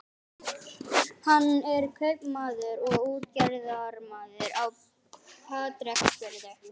Hann er kaupmaður og útgerðarmaður á Patreksfirði.